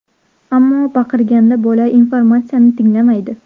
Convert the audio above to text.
Ammo baqirganda bola informatsiyani tinglamaydi.